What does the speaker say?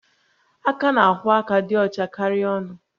Aka na-akwọ aka dị ọcha karịa ọnụ